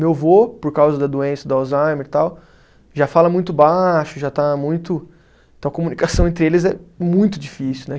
Meu vô, por causa da doença do Alzheimer e tal, já fala muito baixo, já está muito. Então, a comunicação entre eles é muito difícil, né?